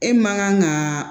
E man kan ka